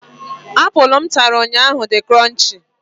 Apụl m ntara ụnyaahụ di kronchii.